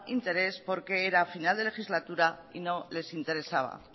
interés porque era final de legislatura y no les interesaba